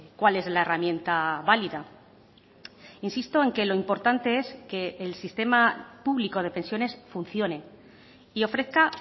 cual es la herramienta válida insisto en que lo importante es que el sistema público de pensiones funcione y ofrezca